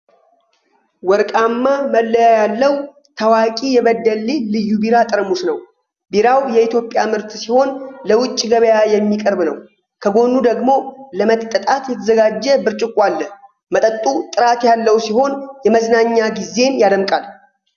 ወርቃማ መለያ ያለው፣ ታዋቂው የበደሌ ልዩ ቢራ ጠርሙስ ነው። ቢራው የኢትዮጵያ ምርት ሲሆን ለውጭ ገበያ የሚቀርብ ነው። ከጎኑ ደግሞ ለመጠጣት የተዘጋጀ ብርጭቆ አለ። መጠጡ ጥራት ያለው ሲሆን የመዝናኛ ጊዜን ያደምቃል።